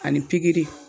Ani pikiri